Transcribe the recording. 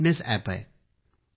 हे fitness app आहे